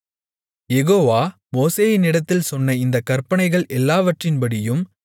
யெகோவா மோசேயினிடத்தில் சொன்ன இந்தக் கற்பனைகள் எல்லாவற்றின்படியும்